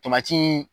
Tomati